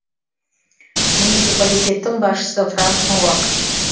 муниципалитеттің басшысы франк ноак